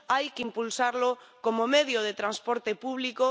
Hay que impulsarlo como medio de transporte público.